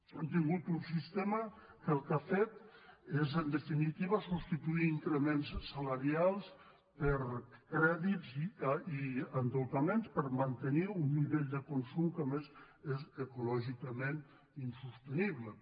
hem tingut un sistema que el que ha fet és en definitiva substituir increments salarials per crèdits i endeutaments per mantenir un nivell de consum que a més és ecològicament insostenible